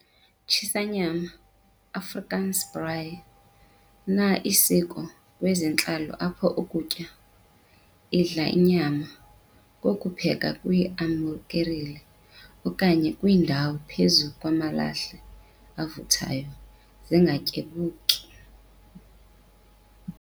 Tshisa nyama, Afrikaans- "Braai", na isiko kwezentlalo apho ukutya, idla inyama, kokupheka kwi amukerile okanye kwiindawo phezu kwamalahle avuthayo, Zingatyabuki.